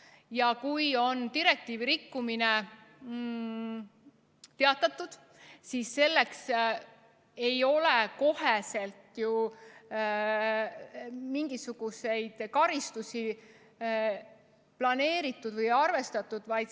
Ja kui on teatatud direktiivi rikkumisest, siis selleks ei ole kohe ju mingisuguseid karistusi planeeritud või arvestatud.